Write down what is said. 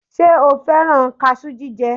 Ṣe o fẹ́rán kaṣú jíjẹ?